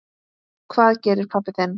Hvað gerir pabbi þinn?